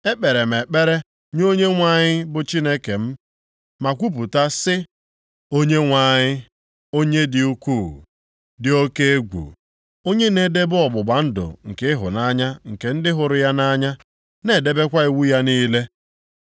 Ekpere m ekpere nye Onyenwe anyị bụ Chineke m, ma kwupụta sị, “Onyenwe anyị, onye dị ukwuu, dị oke egwu. Onye na-edebe ọgbụgba ndụ nke ịhụnanya nke ndị hụrụ ya nʼanya na-edebekwa iwu ya niile.